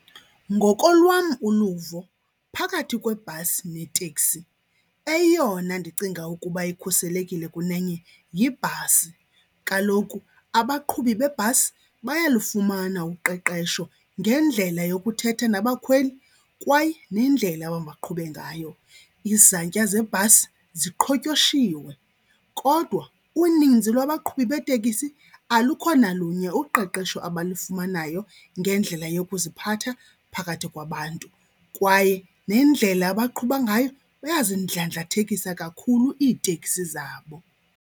Ngokolwam uluvo phakathi kwebhasi neteksi eyona ndicinga ukuba ikhuselekile kunenye yibhasi. Kaloku abaqhubi bebhasi bayalufumana uqeqesho ngendlela yokuthetha nabakhweli kwaye nendlela amabaqhube ngayo. Izantya zebhasi ziqhotyoshiwe kodwa uninzi lwabaqhubi beeteksi alukho nalunye uqeqesho abalufumanayo ngendlela yokuziphatha phakathi kwabantu. Kwaye nendlela abaqhuba ngayo, bayazindlandlathekisa kakhulu iiteksi zabo.